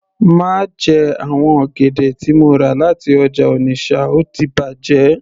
Má jẹ àwọn ọ̀gẹ̀dẹ̀ tí mo rà láti ọjà Onitsha ó ti bàjẹ́